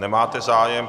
Nemáte zájem.